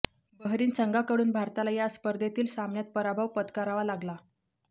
Bahrain संघाकडून भारताला या स्पर्धेतील सामन्यात पराभव पत्करावा लागला